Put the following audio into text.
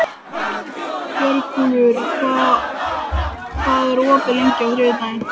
Björgúlfur, hvað er opið lengi á þriðjudaginn?